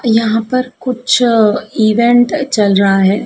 यहाँ पर कुछ अ इवेंट चल रहा है।